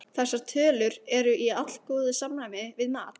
Þessar tölur eru í allgóðu samræmi við mat